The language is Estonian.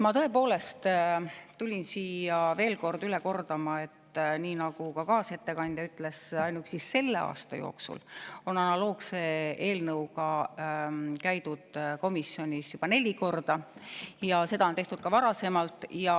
Ma tõepoolest tulin siia veel kord üle kordama seda, mida ka kaasettekandja ütles, et ainuüksi selle aasta jooksul on analoogse eelnõuga käidud komisjonis juba neli korda ja seda on tehtud ka varasemalt.